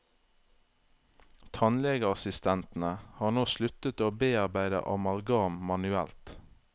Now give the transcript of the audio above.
Tannlegeassistentene har nå sluttet å bearbeide amalgam manuelt.